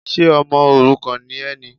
Ṣe ọmọ òrukàn ni ẹ ni?